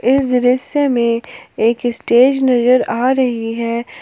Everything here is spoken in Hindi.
इस दृश्य में एक स्टेज नजर आ रही है।